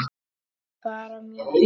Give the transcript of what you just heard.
Bara mjög fínt.